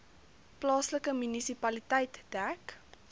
plaaslike munisipaliteit dek